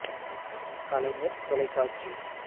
கலைஞர் தொலைக்காட்சி